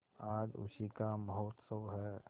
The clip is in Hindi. आज उसी का महोत्सव है